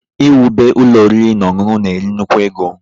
Ị wube ụlọ ọriri na ọṅụṅụ na-eri nnukwu ego